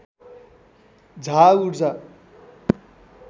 झा ऊर्जा